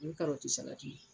O ye karɔti salati ye